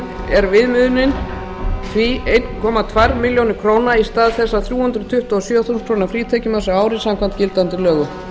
er viðmiðunin því einn komma tvær milljónir króna í stað þess þrjú hundruð tuttugu og sjö þúsund króna frítekjumarks á ári samkvæmt gildandi lögum